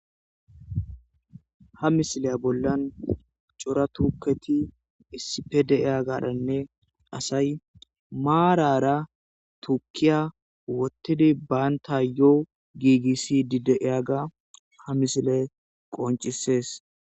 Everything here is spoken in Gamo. ha misilaya bollan cora tuuketi issippe de7iya garanne asay maarara tukkiya wottidi baantayoo giigissiddi de7iyaga ha misile qoncisees.